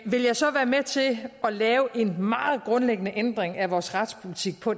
vil jeg så være med til at lave en meget grundlæggende ændring af vores retspolitik på